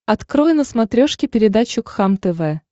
открой на смотрешке передачу кхлм тв